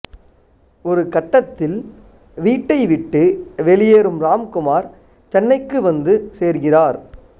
ஒரு கட்டத்தில் வீட்டைவிட்டு வெளியேறும் ராம்குமார் சென்னைக்கு வந்து சேர்கிறார்